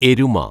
എരുമ